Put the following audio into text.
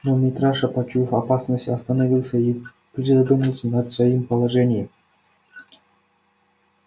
но митраша почуяв опасность остановился и призадумался над своим положением